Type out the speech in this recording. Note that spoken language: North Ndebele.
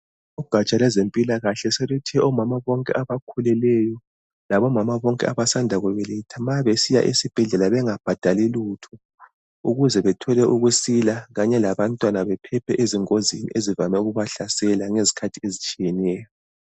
Ugatsha lozwempilakahle soluthe omama bonke abakhuleleyo labo bonke abasanda lobelethe nxa besiya esibhedlela bengabhadali lutho. Ukuze bethole ukusila kanye labantwana bephephe ezingozini ezivame ukubahlasele ngezikhathi ezitshiyeneyo.